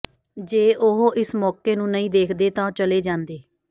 ਜੇ ਉਹ ਇਸ ਮੌਕੇ ਨੂੰ ਨਹੀਂ ਦੇਖਦੇ ਤਾਂ ਉਹ ਚਲੇ ਜਾਂਦੇ